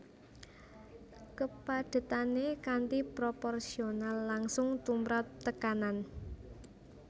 Kepadhetané kanthi proporsional langsung tumrap tekanan